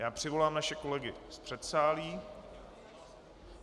Já přivolám naše kolegy z předsálí.